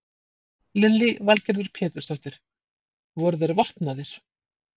Lillý Valgerður Pétursdóttir: Voru þeir vopnaðir?